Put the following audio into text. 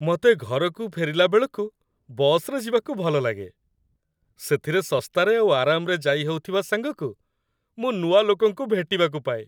ମତେ ଘରକୁ ଫେରିଲାବେଳକୁ ବସ୍‌ରେ ଯିବାକୁ ଭଲଲାଗେ । ସେଥିରେ ଶସ୍ତାରେ ଆଉ ଆରାମରେ ଯାଇହଉଥିବା ସାଙ୍ଗକୁ ମୁଁ ନୂଆ ଲୋକଙ୍କୁ ଭେଟିବାକୁ ପାଏ ।